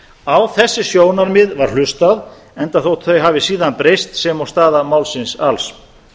á þessi sjónarmið var hlustað enda þótt þau hafi síðan breyst sem og staða málsins alls